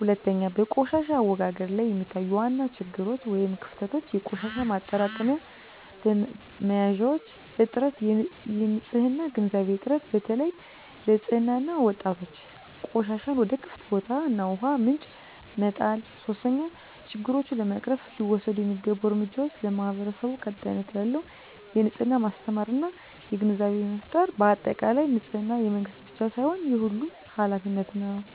2, በቆሻሻ አወጋገድ ላይ የሚታዩ ዋና ችግሮች / ክፍተቶች - የቆሻሻ ማጠራቀሚያ መያዣዎች እጥረት -የንፅህና ግንዛቤ እጥረት (በተለይ ለሕፃናት እና ወጣቶች) -ቆሻሻን ወደ ክፍት ቦታዎች እና ውሃ ምንጮች መጣል 3, ችግሮቹን ለመቅረፍ ሊወሰዱ የሚገቡ እርምጃዎች ,ለማህበረሰቡ ቀጣይነት ያለው የንፅህና ማስተማር እና ግንዛቤ ፍጠር በአጠቃላይ፣ ንፅህና የመንግስት ብቻ ሳይሆን የሁሉም ኃላፊነት ነው።